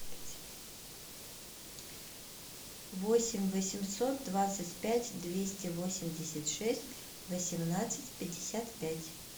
восемь восемьсот двадцать пять двести восемьдесят шесть восемнадцать пятьдесят пять